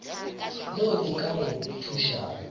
leo le ka go thušago